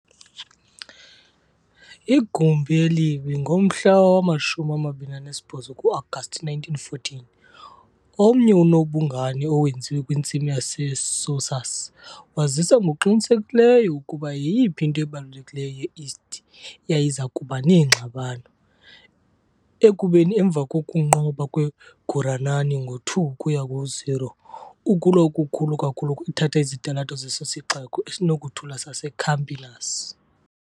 Igumbi elibi, ngomhla wama-28 ku-Agasti 1914, omnye onobungane owenziwe kwintsimi ye-Sousas, wazisa ngokuqinisekileyo ukuba yiyiphi into ebalulekileyo ye-East yayiza kuba neengxabano, ekubeni emva kokunqoba kweGuranani ngo-2 ukuya ku-0, Ukulwa okukhulu kakhulu kwathatha izitalato zeso sixeko esinokuthula saseCampinas.